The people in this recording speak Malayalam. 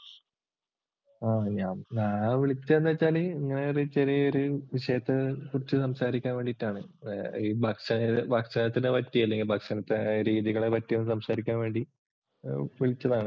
ഞാൻ വിളിച്ചതെന്താന്നു വച്ചാല് ഇങ്ങനെ ചെറിയൊരു വിഷയത്തെ കുറിച്ച് സംസാരിക്കാൻ വേണ്ടീട്ടാണ്. ഭക്ഷഭക്ഷണത്തെ പറ്റി അല്ലെങ്കിൽ ഭക്ഷണത്തെ രീതികളെ സംസാരിക്കാൻ വേണ്ടി വിളിച്ചതാണ്.